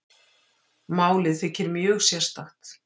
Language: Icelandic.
Málið þykir mjög sérstakt